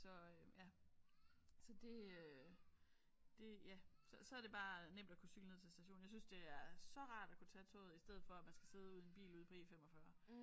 Så øh ja så det øh det ja så er det bare nemt at kunne cykle ned til stationen jeg synes det er så rart at kunne tage toget i stedet for at man skal sidde ude i en bil ude på E45